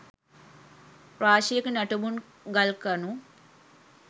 රාශියක නටබුන් ගල්කණු